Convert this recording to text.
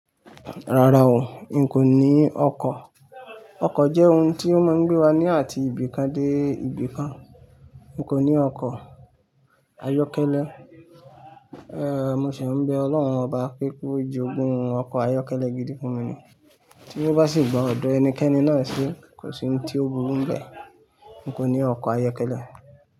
Rárá o, n kò ní ọkọ̀. Ọkọ̀ jẹ́ ohun tí ó máa ń gbé wa ní àti ibi kan dé ibi kan. N kò ní ọkọ̀ ayọ́kẹ́lẹ́, eh mo sì ń bẹ Ọlọ́run ọba pé kó jogun un ọkọ̀ ayọ́kẹ́lẹ́ gidi fún mi ní. Tí o bá sì gba ọ̀dọ̀ ẹnikẹ́ni náà se, kò sí ohun tí ó burú ń bẹ. N kò ní ọkọ̀ ayọ́kẹ́lẹ́.